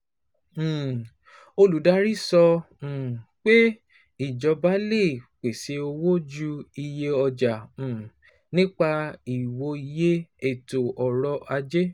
um Olùdarí sọ um pé ìjọba lè pèsè owó ju iye ọjà um nípa ìwòye ètò ọrọ̀ ajé.